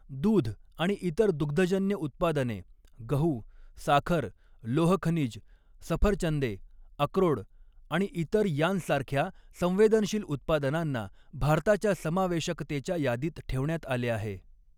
दूध आणि इतर दुग्धजन्य उत्पादने, गहू, साखर, लोह खनिज, सफऱचंदे, अक्रोड आणि इतर यांसारख्या संवेदनशील उत्पादनांना भारताच्या समावेशकतेच्या यादीत ठेवण्यात आले आहे.